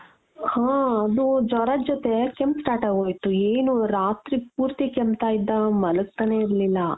ಹ ಅದು ಜ್ವರದ್ ಜೊತೆ ಕೆಮ್ಮು start ಆಗೊಯಿತು ಏನು ರಾತ್ರಿ ಪೂರ್ತಿ ಕೆಮ್ತಾ ಇದ್ದ ಮಲ್ಗ್ತಾನೇ ಇರ್ಲಿಲ್ಲ .